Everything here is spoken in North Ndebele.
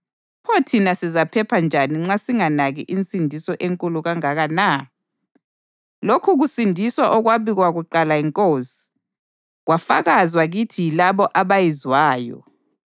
pho thina sizaphepha njani nxa singanaki insindiso enkulu kangaka na? Lokhu kusindiswa okwabikwa kuqala yiNkosi, kwafakazwa kithi yilabo abayizwayo.